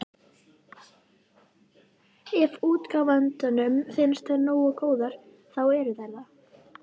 Ef útgefandanum finnst þær nógu góðar, þá eru þær það.